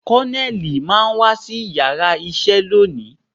Koneli máa wá sí yàrá isẹ lónìí